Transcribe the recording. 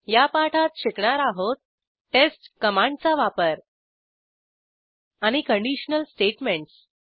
या पाठात शिकणार आहोत टेस्ट कमांडचा वापर आणि कंडिशनल स्टेटमेंटस